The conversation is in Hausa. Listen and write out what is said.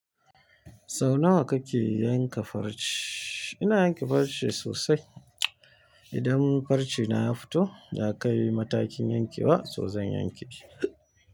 Sau nawa kake yanka farce? Ina yanke farce sosai. Idan farce na ya fito, ya kai matakin yankewa so zan yanke shi.